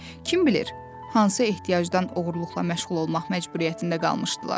Kim bilir, hansı ehtiyacdan oğurluqla məşğul olmaq məcburiyyətində qalmışdılar.